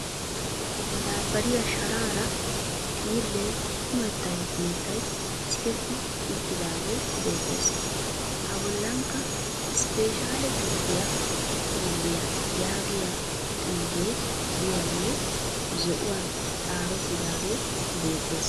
Madaabbariya sharaara xiillee kumettay kumettay siketti uttidaagee beettes. A bollankka " isppeshaalle gisttiiya xiilliya yaagiya xuufee diyagee zo'uwan xaafettaage beettes.